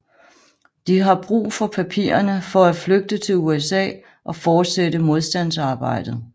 De har brug for papirerne for at flygte til USA og fortsætte modstandsarbejdet